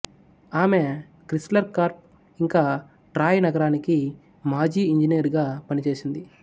ఆమె Chrysler Corp ఇంకా Troy నగరానికి మాజీ ఇంజనీర్ గా పని చేసింది